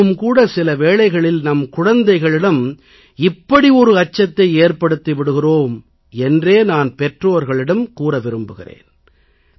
நாமும் கூட சில வேளைகளில் நம் குழந்தைகளிடம் இப்படி ஒரு அச்சத்தை ஏற்படுத்தி விடுகிறோம் என்றே நான் பெற்றோர்களிடம் கூற விரும்புகிறேன்